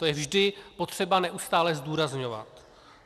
To je vždy potřeba neustále zdůrazňovat.